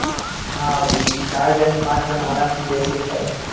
હા ભાઈ ચાર જન પાંચ જન આરામ થી બેસી સકાય